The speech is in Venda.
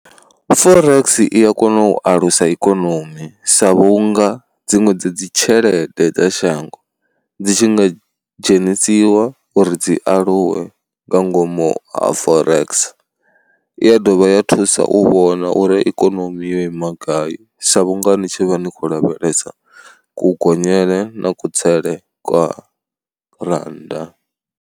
Forex i ya kona u alusa ikonomi sa vhunga dziṅwe dza dzi tshelede dza shango dzi tshi nga dzhenisiwa uri dzi aluwe nga ngomu ha Forex. I ya dovha ya thusa u vhona uri ikonomi yo ima gai sa vhunga ni tshi vha ni khou lavhelesa kugonyela na kutsele kwa rannda.